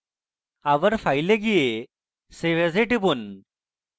আবার file এ যান এবং save as এ টিপুন